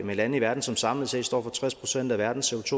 med lande i verden som samlet set står for tres procent af verdens